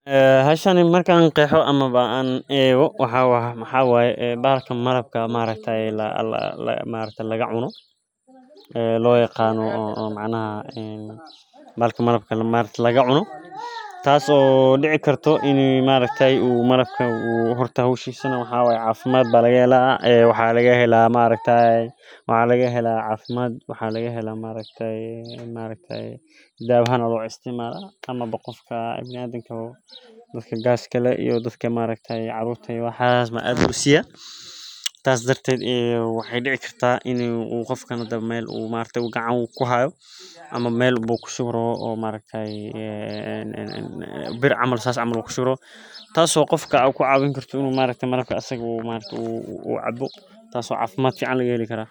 Haa shani markaan ka qeexo ama baan eego waxa waa waxa waaye baalka malaab maareyta ay la la la maareyta laga cuno ee loo yaqaano oo macna ah in malaab malabka maalinta laga cuno. Taasoo dhici karto in maareyta ay uu malaabka uu hortahoodu shiisan waxa waaya caafimaad bala yela ee waxaa laga helaa maareyta, waxaa laga helaa caafimaad, waxaa laga helaa maareyta, maareyta daawa han u isticmaal ama bo qofka ah binadanka hubo dadka gaaskayla iyo dadka maareyta caruurta iyo waxa isma adkaysiga. Taas darteed ee waxay dhici kartaa inuu uu qofka nada meel uu maalinta gacan ku habo ama meel boo ku sugro oo maalinteeey ee bir amris as amru ku sugro. Taasoo qofka ku caawin karto inuu maalintii malaabka asagoo maalintu uu cabdo, taasoo caafimaad kicd can lagu heli karaa.